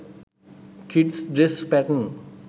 kids dress patten